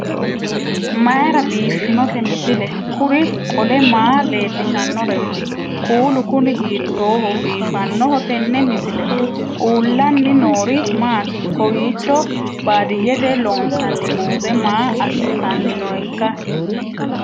mayra biiffinote misile? kuri qole maa leellishannoreeti? kuulu kuni hiittooho biifannoho tenne misilehu? uullaanni noori maati? kawiicho baadiyyete loonsanni muuze maa assitanni nooikka